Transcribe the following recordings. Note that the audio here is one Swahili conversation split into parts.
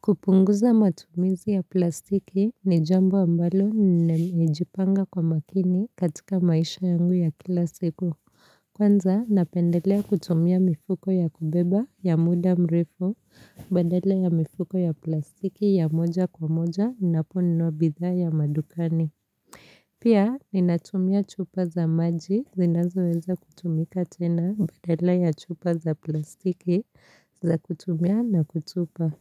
Kupunguza matumizi ya plastiki ni jambo ambalo ninamijipanga kwa makini katika maisha yangu ya kila siku. Kwanza, napendelea kutumia mifuko ya kubeba ya muda mrefu badala ya mifuko ya plastiki ya moja kwa moja ninaponunua bidhaa ya madukani. Pia ninatumia chupa za maji zinazoweza kutumika tena badala ya chupa za plastiki za kutumia na kutupa.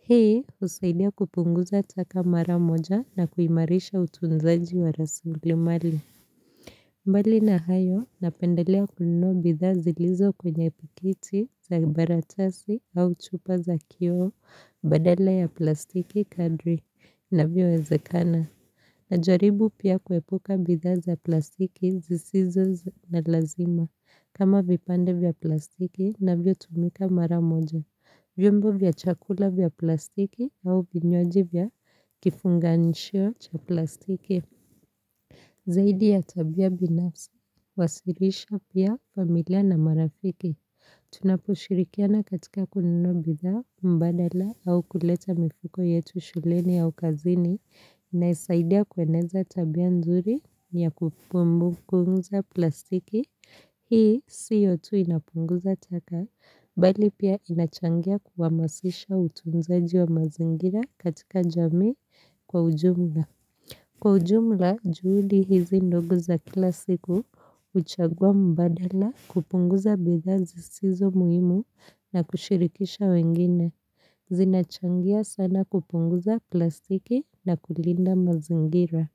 Hii usaidia kupunguza taka mara moja na kuimarisha utunzaji wa rasilimali. Mbali na hayo napendelea kununua bidhaa zilizo kwenye pikiti za baratasi au chupa za kioo badala ya plastiki kadri inavyowezekana. Najaribu pia kuepuka bidhaa zi plastiki zisizo na lazima kama vipande vya plastiki vinavyotumika mara moja. Vyombo vya chakula vya plastiki au vinywaji vya kifunganishio cha plastiki. Zaidi ya tabia binafsi, wasilisha pia familia na marafiki. Tunapushirikiana katika kununua bidhaa mbadala au kuleta mifuko yetu shuleni au kazini. Naisaidia kueneza tabia nzuri ya kupunguza plastiki. Hii siyo tu inapunguza taka, bali pia inachangia kuhamasisha utunzaji wa mazingira katika jamii kwa ujumla. Kwa ujumla, juhudi hizi ndogo za kila siku, huchagua mbadala kupunguza bidhaa zisizo muhimu na kushirikisha wengine. Zinachangia sana kupunguza plastiki na kulinda mazingira.